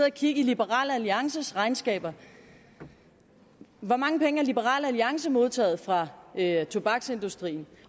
og kigge i liberal alliances regnskaber hvor mange penge har liberal alliance modtaget fra tobaksindustrien